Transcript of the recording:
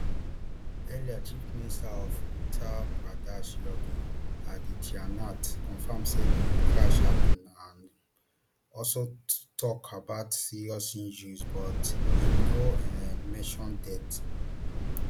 earlier chief minister of uttar pradesh yogi adityanath confam say di crush happun and um also tok about serious injuries but im no um mention deaths